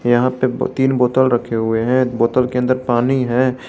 यहां पे तीन बोतल रखे हुए हैं बोतल के अंदर पानी है।